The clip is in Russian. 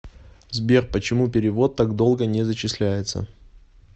сбер почему перевод так долго не зачисляется